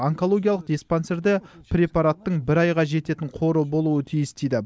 онкологиялық диспансерде препараттың бір айға жететін қоры болуы тиіс дейді